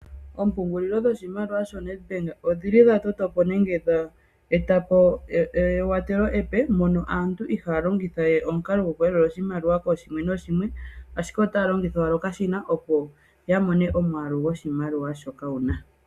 Oompungulilo dhoshimaliwa shoNedbank odhili dha toto po nenge dha eta po ewatelo epe. Mono aantu ihaya longitha we omukalo goku yalula oshimaliwa koshimwe noshimwe, ashike otaya longitha owala okashina opo ya mone omwaalu go shimaliwa shoka wuna.